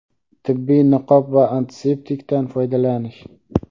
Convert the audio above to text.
tibbiy niqob va antiseptikdan foydalanish.